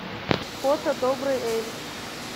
фото добрый эль